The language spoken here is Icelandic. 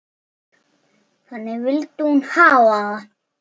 Þannig vildi hún hafa það.